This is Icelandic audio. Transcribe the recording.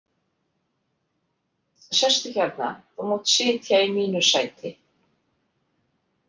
Sestu hérna, þú mátt sitja í mínu sæti.